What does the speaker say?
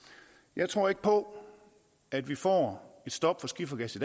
jeg tror ikke på at vi får stop for skifergas i